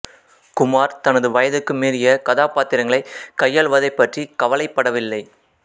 குமார் தனது வயதுக்கு மீறிய கதாபாத்திரங்களை கையாளுவதைப் பற்றி கவலைப்படவில்லை